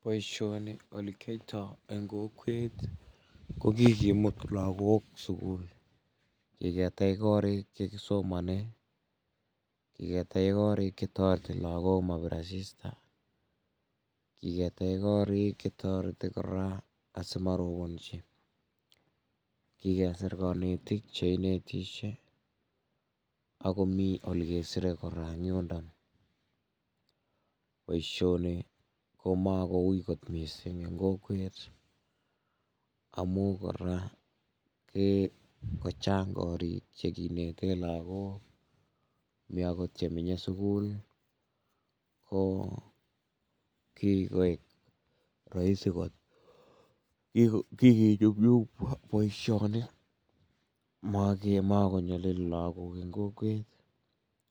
Boisioni ole kiyoito eng kokwet ko kikimut lakok sukul, kiketech korik chekisomonen, kiketech korik che toreti lakok mat kobit asista, kiketech korik che toreti kora asimorobonji, kikesir kanetik che inetisie, akomi ole kesire kora eng yundak, boisioni ko makowuy mising eng kokwet, amun kora kii kochanga korik che kinete lakok, mi akot chemenye sukul, ko kikoik rahisi ko, kikinyumnyum boisioni, ma konyolili lakok eng kokwet,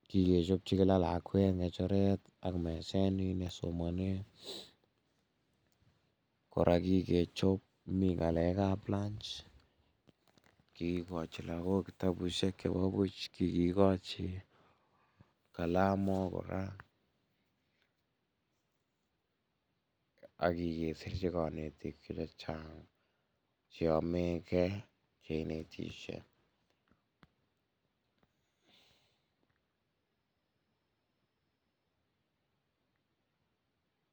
kikechopchi kila lakwet ngecheret ak meset me kisomanen, kora kikechob ngalekab lunch kikochin lakok kitabusiek chebo buch, kikochin kalomok kora, ak kesirchi kanetik chechang che ameke konetisiet.